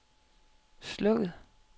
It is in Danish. slukket